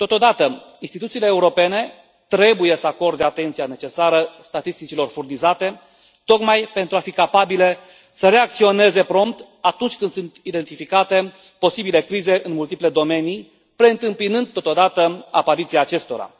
Totodată, instituțiile europene trebuie să acorde atenția necesară statisticilor furnizate, tocmai pentru a fi capabile să reacționeze prompt atunci când sunt identificate posibile crize în multiple domenii, preîntâmpinând, totodată, apariția acestora.